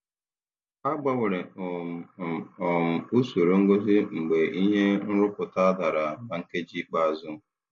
Agbanwere um m um usoro ngosi mgbe ihe nrụpụta dara na nkeji ikpeazụ.